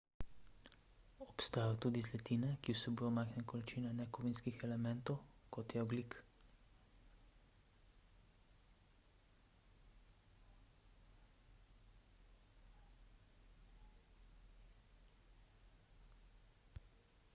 obstajajo tudi zlitine ki vsebujejo majhne količine nekovinskih elementov kot je ogljik